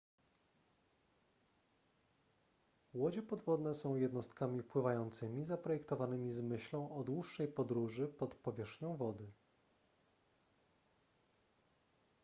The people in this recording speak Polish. łodzie podwodne są jednostkami pływającymi zaprojektowanymi z myślą o dłuższej podróży pod powierzchnią wody